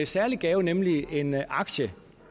særlig gave nemlig en aktie